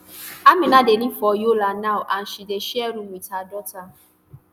amina dey live for yola now and she dey share room wit her daughter